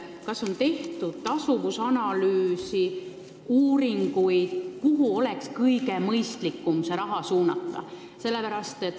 Kas on tehtud tasuvusanalüüs, uuringud, kuhu oleks kõige mõistlikum see raha suunata?